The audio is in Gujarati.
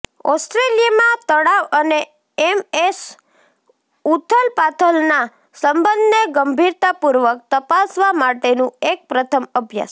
ઓસ્ટ્રેલિયામાં તણાવ અને એમએસ ઊથલપાથલના સંબંધને ગંભીરતાપૂર્વક તપાસવા માટેનું એક પ્રથમ અભ્યાસ